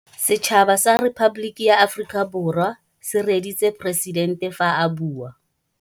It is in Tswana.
Setšhaba sa Repaboliki ya Aforika Borwa se reeditsê poresitente fa a bua.